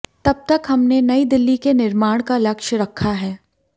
तब तक हमने नई दिल्ली के निर्माण का लक्ष्य रखा है